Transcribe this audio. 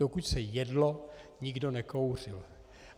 Dokud se jedlo, nikdo nekouřil.